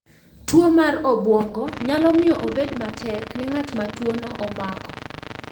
Tuwo mar obwongo nyalo miyo obed matek ne ng’at ma tuono omako .